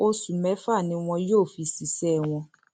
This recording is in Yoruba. oṣù mẹfà ni wọn yóò fi ṣiṣẹ wọn